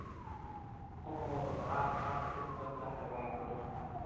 हो हो आजकाल खूपच झालंय वायू प्रदूषण.